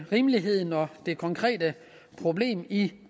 rimeligheden og det konkrete problem i